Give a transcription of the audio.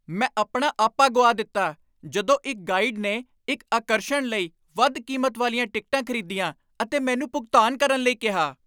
ਮੈਂ ਆਪਣਾ ਆਪਾ ਗੁਆ ਦਿੱਤਾ ਜਦੋਂ ਇੱਕ ਗਾਈਡ ਨੇ ਇੱਕ ਆਕਰਸ਼ਣ ਲਈ ਵੱਧ ਕੀਮਤ ਵਾਲੀਆਂ ਟਿਕਟਾਂ ਖ਼ਰੀਦੀਆਂ ਅਤੇ ਮੈਨੂੰ ਭੁਗਤਾਨ ਕਰਨ ਲਈ ਕਿਹਾ।